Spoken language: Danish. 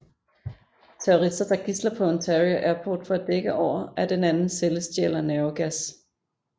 Terrorister tager gidsler på Ontario Airport for at dække over at en anden celle stjæler nervegas